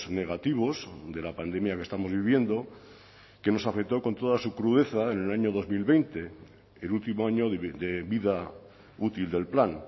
negativos de la pandemia que estamos viviendo que nos afectó con toda su crudeza en el año dos mil veinte el último año de vida útil del plan